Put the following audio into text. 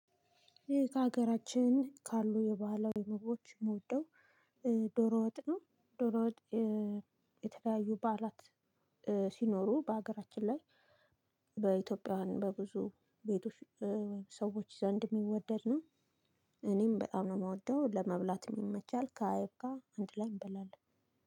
ይሄ ከሀገራችን ካሉ የባህላዊ ምግቦች እምወደው ዶሮ ወጥ ነው። ዶሮ ወጥ የተለያዩ በዓላት ሲኖሩ በሀገራችን ላይ። በኢትዮጵያውያን በብዙ ቤቶች ወይም ሰዎች ዘንድ የሚወደድ ነው። እኔም በጣም ነው የምወደው ለመብላት ይመቻል ከአይብ ጋር አንድ ላይ እንበላለን።